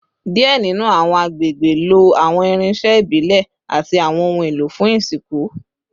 Diẹ ninu awọn agbegbe lo awọn irinṣẹ ibile ati awọn ohun elo fun isinku